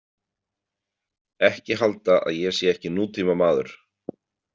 Ekki halda að ég sé ekki nútímamaður.